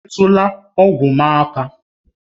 Emetụla ọgwụ m aka!